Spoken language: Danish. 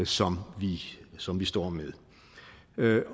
som som vi står med